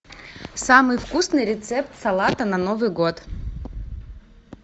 самый вкусный рецепт салата на новый год